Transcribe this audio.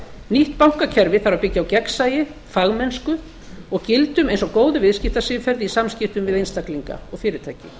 nýtt bankakerfi þarf að byggja á gegnsæi fagmennsku og gildum eins og góðu viðskiptasiðferði í samskiptum við einstaklinga og fyrirtæki